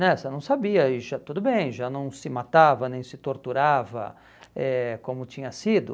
né Você não sabia e já, tudo bem, já não se matava nem se torturava eh como tinha sido.